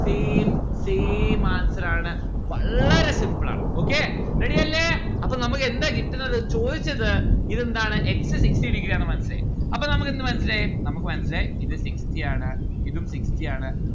same same answer ആണ്. വളരെ simple ആണ് okay ready അല്ലെ അപ്പൊ നമ്മുക്ക് എന്താ കിട്ടുന്നത് ചോയ്ച്ചത് ഇതെന്താണ് x sixty degree ആണ് മനസ്സിലായി അപ്പൊ നമ്മക്ക് എന്ത് മനസ്സിലായി നമ്മുക്ക് മനസ്സിലായി ഇത് sixty ആണ്, ഇതും sixty ആണ്.